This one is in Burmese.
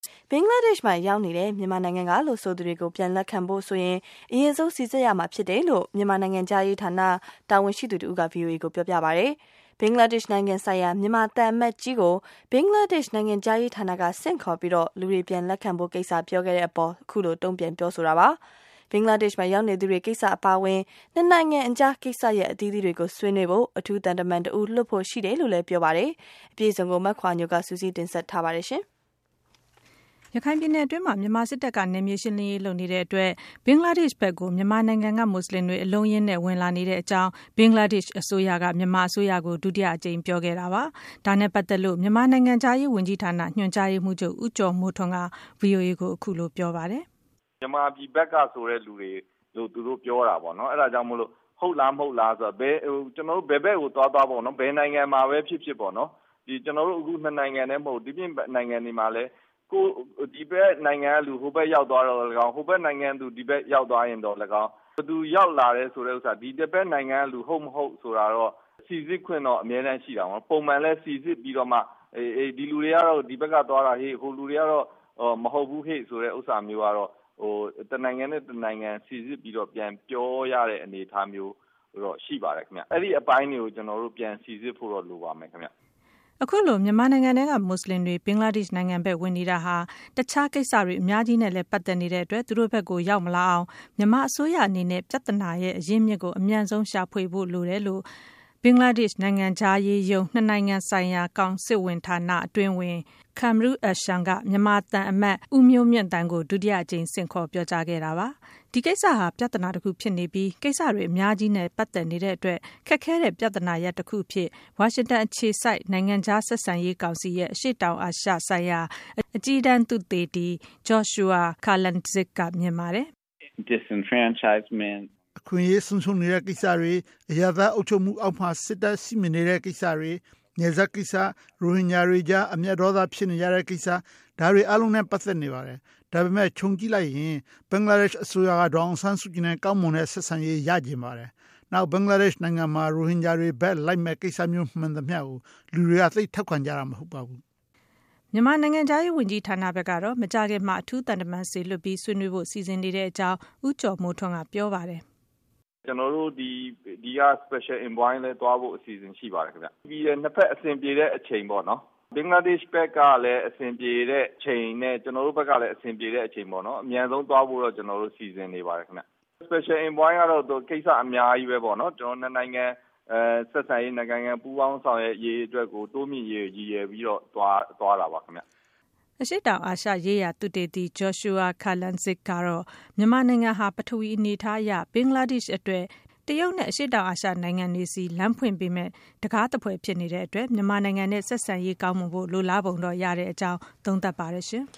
ဘင်္ဂလားဒေ့ရှ်မှာရောက်နေတဲ့ မြန်မာနိုင်ငံကလို့ဆိုသူတွေကို ပြန်လက်ခံဖို့ဆိုရင် အရင်ဆုံး စိစစ်ရမှာဖြစ်တယ်လို့ မြန်မာနိုင်ငံခြားရေးဌာန တာဝန်ရှိသူ တဦးက ဗွီအိုအေကိုပြောပါတယ်။ ဘင်္ဂလားဒေ့ရှ်နိုင်ငံဆိုင်ရာ မြန်မာသံအမတ်ကြီးကို ဘင်္ဂလားဒေ့ရှ်နိုင်ငံခြားရေးဌာနက ဆင့်ခေါ်ပြီး လူတွေပြန်လက်ခံ ဖို့ကိစ္စ ပြောခဲ့တဲ့ အပေါ် အခုလို တုန့်ပြန် ပြောဆိုတာပါ။ ဘင်္ဂလားဒေ့ရှ်မှာ ရောက်နေသူတွေ ကိစ္စအပါအဝင် နှစ်နိုင်ငံအကြား ကိစ္စရပ်အသီးသီးကို ဆွေးနွေးဖို့ အထူးသံတမန်တဦး လွှတ်ဖို့ရှိတယ်လို့လည်း ပြောပါတယ်။ မခွာညိုက စုစည်းတင်ပြပေးထားပါတယ်။ ရခိုင်ပြည်နယ်အတွင်းမှာ မြန်မာစစ်တပ်က နယ်မြေရှင်းလင်းရေးလုပ်နေတဲ့အတွက် ဘင်္ဂလားဒေ့ရှ်ဘက်ကို မြန်မာနိုင်ငံက မူဆလင်တွေ အလုံးအရင်းနဲ့ လှိမ့်ဝင်နေတဲ့ အကြောင်း ဘင်္ဂလားဒေ့ရှ်အစိုးရက မြန်မာအစိုးရကို ဒုတိယအကြိမ် ပြောခဲ့တာပါ။ ဒါနဲ့ပတ်သက်လို့ မြန်မာနိုင်ငံခြားရေးဝန်ကြီးဌာန ညွန်ကြားရေးမှူးချုပ် ဦးကျော်မိုးထွန်းက ဗွီအိုအေကို အခုလို ပြောပါတယ်။ " မြန်မာပြည်ဘက်ကဆိုတဲ့သူတွေလို့ သူတို့ပြောတာပေါ့နော်။ အဲ့တာကို ဟုတ်လား၊ မဟုတ်လားပေါ့နော်။ ကျနော်တို့ ဘယ်ဘက်ကို သွားသွားပေါ့နော်။ ဘယ်နိုင်ငံ မှာပဲဖြစ်ဖြစ်ပေါ့နော်။ အခုကျနော်တို့ နှစ်နိုင်ငံထဲ မဟုတ်ဘူး။ ဒီ့ပြင်နိုင်ငံတွေမှာလည်း ဒီဘက်နိုင်ငံကသူ ဟိုဘက်ရောက် သွားရင်သော်လည်းကောင်း၊ ဟိုဘက်နိုင်ငံ ကသူ ဒီဘက်ရောက် သွားရင်သော်လည်းကောင်း၊ ဘယ်သူရောက်လာတယ်ဆိုတဲ့ဥစ္စာ ဒီတဘက်နိုင်ငံက သူမဟုတ်ဟုတ်တော့ စိစစ်ခွင့်တော့ အမြဲတမ်းရှိပါတယ်။ ပုံမှန်လည်း စိစစ်ပြီးတော့မှ ဒီလူတွေကတော့ ဒီဘက်ကသွားတာဟေ့၊ ဟိုလူတွေကတော့ မဟုတ်ဘူးဟေ့ဆိုတာမျိုးကတော့ တနိုင်ငံနဲ့ တနိုင်ငံ စိစစ်ပြီးတော့ ပြန်ပြောရတဲ့ အနေအထားမျိုးတော့ရှိပါတယ်ခင်ဗျ အဲ့ဒီ့အပိုင်းတွေကို ကျနော်တို့ ပြန်ပြီး စိစစ်ဖို့တော့ လိုပါမယ်ခင်ဗျ။" အခုလို မြန်မာနိုင်ငံထဲက မူဆလင်တွေ ဘင်္ဂလားဒေ့ရှ်နိုင်ငံဘက်ဝင်နေတာဟာ တခြားကိစ္စတွေ အများကြီးနဲ့လည်း ပတ်သက်နေတဲ့အတွက် သူတို့ဘက်ကို ရောက် မလာအောင် မြန်မာအစိုးရအနေနဲ့ ပြဿနာအရင်းအမြစ်ကို အမြန်ဆုံးရှာဖွေဖို့လိုတယ် လို့ ဘင်္ဂလားဒေ့ရှ် နိုင်ငံခြား ရေးရုံး နှစ်နိုင်ငံဆိုင်ရာ ကောင်စစ်ဝန်ဌာန အတွင်းဝန် Kamrul Ahsan က မြန်မာသံအမတ် ဦးမျိုးမြင့်သန်းကို ဒုတိယအကြိမ် ဆင့်ခေါ် ပြောကြားခဲ့တာပါ။ ဒီကိစ္စဟာ ပြဿနာတခုဖြစ်နေပြီး ကိစ္စတွေ အများကြီး ပတ်သက်နေတဲ့အတွက် ခက်ခဲတဲ့ပြဿနာတခုအဖြစ် ဝါရှင်တန်အခြေစိုက် နိုင်ငံခြားဆက်ဆံရေးကောင်စီ ရဲ့ အရှေ့တောင်အာရှဆိုင်ရာ အကြီးတန်းသုတေသီ Joshua Kurlantzick က မြင်ပါတယ်။ “အခွင့်အရေးဆုံးရှုံးနေတဲ့ကိစ္စ၊ အရပ်သားအုပ်ချုပ်မှုအောက်မှာ စစ်တပ်က ရှိမနေတဲ့ကိစ္စ၊ နယ်စပ်ကိစ္စ၊ ရိုဟင်ဂျာတွေကြား အမျက်ဒေါသထွက်နေကြတဲ့ကိစ္စ၊ ဒါတွေအားလုံးနဲ့ ပါတ်သက်နေပါတယ်။ ဒါပေမဲ့ ခြုံ ကြည့်ရင် ဘင်္ဂလားဒေရှ့် အစိုးရက ဒေါ်အောင်ဆန်းစုကြည်နဲ့ ကောင်းမွန်တဲ့ ဆက်ဆံရေးကို ရချင်ပါတယ်။ နောက်ဘင်္ဂလားဒေရှ့်နိုင်ငံမှာ ရိုဟင်ဂျာတွေဘက်လိုက်မယ့် ကိစ္စမျိုး မှန်သမျှကို လူတွေက သိပ်ထောက်ခံကြတာ မဟုတ်ပါဘူး။” မြန်မာနိုင်ငံခြားရေးဝန်ကြီးဌာနဘက်ကတော့ မကြာခင်မှာ အထူး သံတမန်စေလွှတ်ပြီး ဆွေးနွေးဖို့ စီစဉ်နေတဲ့အကြောင်း ဦးကျော်မိုးထွန်း က ပြောပါတယ်။ " ကျနော်တို့ ဒီက Special Envoy လည်း သွားဖို့ရှိပါတယ်။ နှစ်ဘက် အဆင်ပြေတဲ့ အချိန်ပေါ့နော်။ ဘင်္ဂလားဒေ့ရှ်ဘက်က အဆင်ပြေတဲ့အချိန်နဲ့ ကျနော်တို့ဘက် ကလည်း အဆင်ပြေတဲ့အချိန် ပေါ့နော်။ အမြန်ဆုံးသွားဖို့တော့ ကျနော်တို့ စီစဉ်နေပါတယ်ခင်ဗျ။ Special Envoy ကတော့ ကိစ္စအများကြီးပဲပေါ့နော်။ နှစ်နိုင်ငံ ဆက်ဆံရေး၊ နှစ်နိုင်ငံ ပူးပေါင်းဆောင်ရွက်ရေး တိုးမြှင့်ရေးအတွက် ရည်ရွယ်ပြီးတော့ သွားတာပါခင်ဗျ။" အရှေ့တောင်အာရှရေးရာ သုတေသီ Joshua Kurlantzick ကတော့ မြန်မာနိုင်ငံဟာ ပထဝီအနေအထားအရ ဘင်္ဂလားဒေ့ရှ်အတွက် တရုတ်နဲ့ အရှေ့တောင် အာရှနိုင်ငံတွေဆီ လမ်းဖွင့်ပေးမယ့် တခါးသဖွယ်ဖြစ်နေတဲ့ အတွက် မြန်မာနိုင်ငံနဲ့ ဆက်ဆံရေးကောင်းမွန်ဖို့ လိုလားပုံတော့ ရတဲ့အကြောင်း သုံးသပ်ပါတယ်